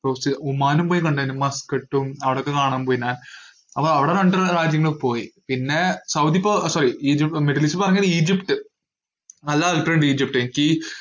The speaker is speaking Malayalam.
ഒമാനും പോയി കണ്ടേനും മസ്‌കറ്റും അവിടൊക്കെ കാണാൻ പോയിന് ആഹ് അപ്പൊ അവിടെ രണ്ട് രാജ്യങ്ങൾ പോയി, പിന്നെ സൗദി ഇപ്പോ sorry ഈജി~ മിഡിൽ ഈസ്റ്റ് പറഞ്ഞത് ഈജിപ്റ്റ് ഈജിപ്റ്റ് എനിക്കീ~